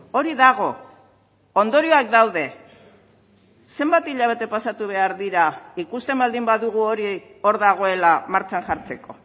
hori dago ondorioak daude zenbat hilabete pasatu behar dira ikusten baldin badugu hori hor dagoela martxan jartzeko